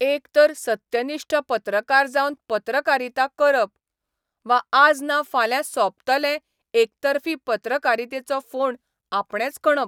एक तर सत्यनिश्ठ पत्रकार जावन पत्रकारिता करप, वा आज ना फाल्यां सोंपतले एकतर्फी पत्रकारितेचो फोंड आपणेच खणप.